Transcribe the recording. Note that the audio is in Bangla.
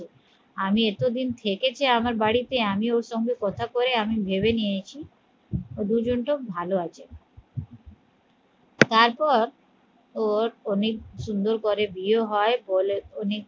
আমি এতদিন থেকেছি আমার বাড়িতে আমি ওর সঙ্গে কথা কই আমি ভেবে নিয়েছি ও দুজন টো ভালো আছে তারপর ওর অনেক সুন্দর করে বিয়ে হয় বলে অনেক